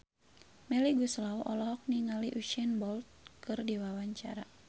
Melly Goeslaw olohok ningali Usain Bolt keur diwawancara